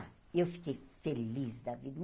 Eu fiquei feliz da vida.